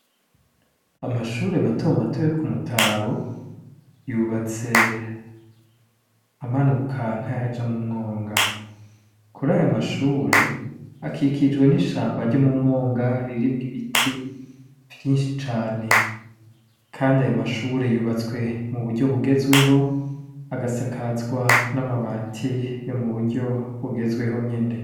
Amashure mato mato yo ku Mutaho, yubatse amanuka nkayaja mu mwonga. Kuri ayo mashure, akikijwe n' ishamba ryo mu mwonga ririmwo ibiti vyinshi cane. Kandi ayo mashure yubatswe mu buryo bugezweho, agasakazwa n' amabati yo mu buryo bugezweho nyene.